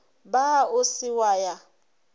ba o se wa ya